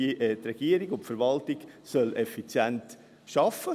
Die Regierung und die Verwaltung sollen effizient arbeiten.